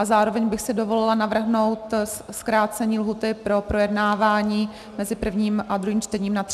A zároveň bych si dovolila navrhnout zkrácení lhůty pro projednávání mezi prvním a druhým čtením na 30 dnů.